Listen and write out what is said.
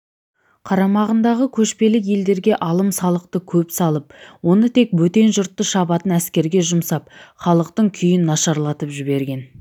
қарамағындағы көшпелі елдерге алым-салықты көп салып оны тек бөтен жұртты шабатын әскерге жұмсап халықтың күйін нашарлатып жіберген